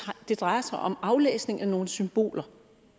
det drejer sig om aflæsning af nogle symboler